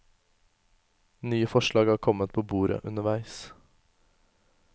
Nye forslag har kommet på bordet underveis.